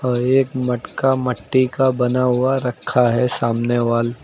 और एक मटका मट्टी का बना हुआ रखा है सामने वाल।